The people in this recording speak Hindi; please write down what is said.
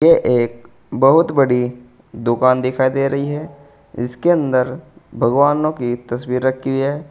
ये एक बहुत बड़ी दुकान दिखाई दे रही है इसके अंदर भगवानों की तस्वीर रखी है।